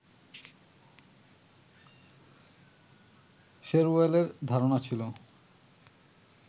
শেরওয়েলের ধারণা ছিল